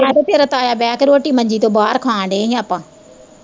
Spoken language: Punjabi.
ਮੈਂ ਤੇ ਤੇਰਾ ਤਾਇਆ ਬਹਿ ਕੇ ਰੋਟੀ ਮੰਜੀ ਤੋਹ ਬਾਹਰ ਖਾਨ ਡੇ ਹੀ ਆਪਾਂ।